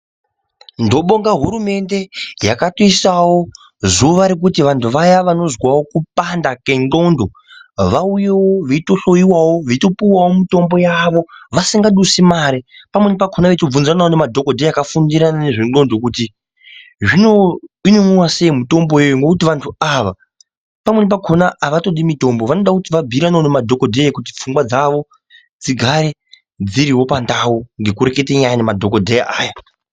Ndobonga hurumende yakatoisawo zuwa rekuti vanthu vaya vanozwawo kupanda kwe nxondo vauyewo veitohloiwawo, veitopuwawo mitombo yavo, vasingadusi mare, pamweni pakhona veitobvunzawo madhokodheya akafundira nezve nxondo kuti zvino inomwiwa sei mitombo ngekuti vanhu ava pamweni pakhona avatodi mitombo vanoda kuti vabhuyiranewo nemadholodheya ngekuti pfungwa dzawo dzigarewo dziriwo pandawu ngekurekete nyaya nemadhokodheya aya.